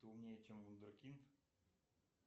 ты умнее чем вундеркинд